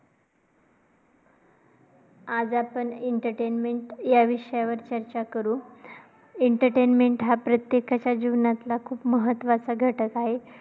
आज आपण entertainment या विषयावर चर्चा करू. Entertainment हा प्रत्येकाच्या जीवनातला खूप महत्त्वाचा घटक आहे.